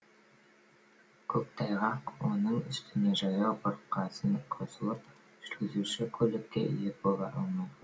көктайғақ оның үстіне жаяу бұрқасын қосылып жүргізуші көлікке ие бола алмай